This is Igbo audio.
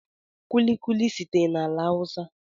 Kulikuli sitere na ala hausa